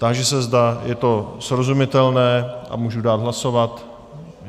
Táži se, zda je to srozumitelné a můžu dát hlasovat.